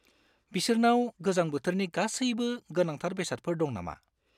बिसोरनाव गोजां बोथोरनि गासैबो गोनांथार बेसादफोर दं नामा?